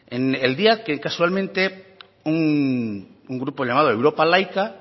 el día que casualmente un grupo llamado europa laica